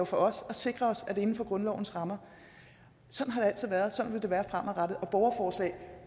for os at sikre os at det er inden for grundlovens rammer sådan har det altid været sådan vil det være fremadrettet og borgerforslag